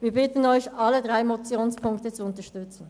Wir bitten Sie, alle drei Motionsziffern zu unterstützen.